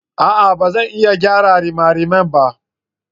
A'a! Ba zan iya gyara rimariman ba.